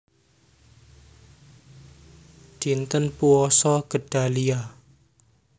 Dinten Puasa Gedalia